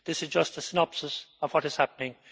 This is just a synopsis of what is happening.